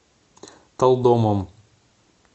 талдомом